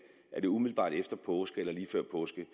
er umiddelbart efter påske eller lige før påske